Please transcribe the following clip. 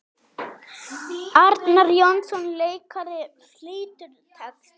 Arnar Jónsson leikari flytur texta.